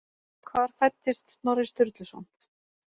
Hvar fæddist Snorri Sturluson?